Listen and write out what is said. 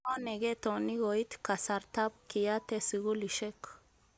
Ngo neketoni koit kasartab kiyate skulishek